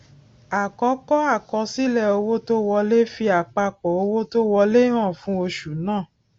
àkọkọ àkọsílẹ owó tó wolẹ fi àpapọ owó tó wọlé hàn fún oṣù náà